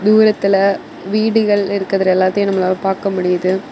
தூரத்துல வீடுகள் இருக்கிறது எல்லாத்தையும் நம்மளால பாக்க முடியுது.